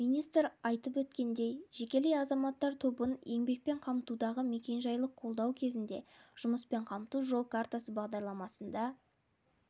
министр айтып өткендей жекелей азаматтар тобын еңбекпен қамтудағы мекенжайлық қолдау кезінде жұмыспен қамту жол картасы бағдарламасында